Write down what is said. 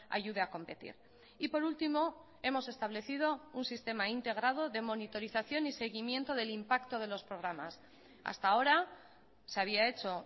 ayude a competir y por último hemos establecido un sistema integrado de monitorización y seguimiento del impacto de los programas hasta ahora se había hecho